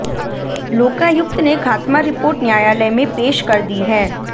लोकायुक्त ने खात्मा रिपोर्ट न्यायालय में पेश कर दी है